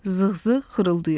Zığzığ xırıldayırdı.